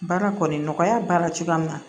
Baara kɔni nɔgɔya b'a la cogoya min na